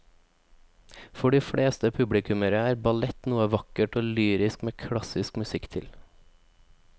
For de fleste publikummere er ballett noe vakkert og lyrisk med klassisk musikk til.